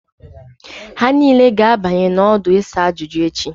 Ha niile ga-abanye n'ọdụ isa ajuju echi